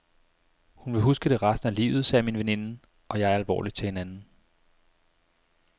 Hun vil huske det resten af livet, sagde min veninde og jeg alvorligt til hinanden.